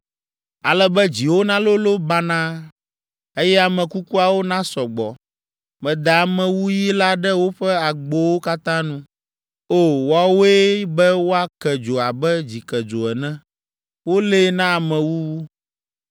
Ale be dziwo nalolo banaa, eye ame kukuawo nasɔ gbɔ. Meda amewuyi la ɖe woƒe agbowo katã nu. O! Wowɔe be woake dzo abe dzikedzo ene, wolée na amewuwu.